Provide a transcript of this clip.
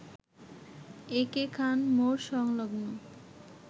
একে খান মোড় সংলগ্ন